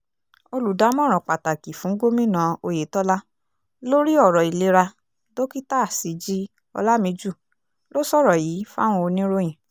olùdámọ̀ràn pàtàkì fún gómìnà oyetola lórí ọ̀rọ̀ ìlera dókítà síji olàmìjú ló sọ̀rọ̀ yìí fáwọn oníròyìn